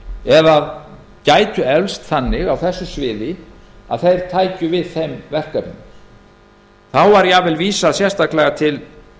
eða gætu eflst þannig á þessu sviði að þeir tækju við þeim verkefnum þá var jafnvel vísað sérstaklega til